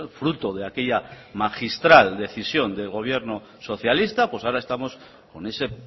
fruto de aquella magistral decisión de gobierno socialista pues ahora estamos con ese